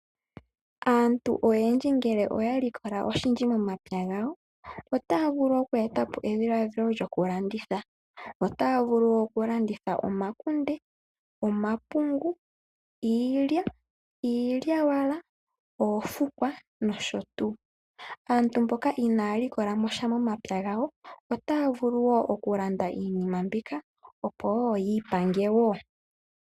Aantu oyendji ngele oya likola oshindji momapya gawo, otaya vulu oku etapo edhilaadhilo lyokulanditha. Otaya vulu okulanditha omakunde, omapungu, iilya, iilyawala , oofukwa nosho tuu. Aantu mboka inaya likola mo sha momapya gawo otaya vulu wo okulanda iinima mbika opo wo yiipange wo.